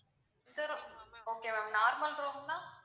okay ma'am normal room னா